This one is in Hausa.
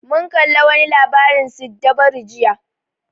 Mun kalla wa ni labarin siddabaru jiya